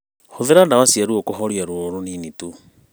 Hũthĩra ndawa cia ruo kũhoria rũo rũnini tu